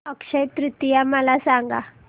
अक्षय तृतीया मला सांगा